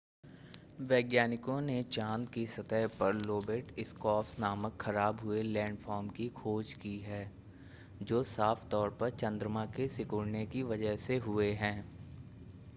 वैज्ञानिकों ने चांद की सतह पर लोबेट स्कार्प्स नामक ख़राब हुए लैंडफ़ॉर्म की खोज की है जो साफ़ तौर पर चंद्रमा के सिकुड़ने की वजह से हुए हैं